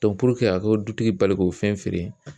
a k'o dutigi bali k'o fɛn feere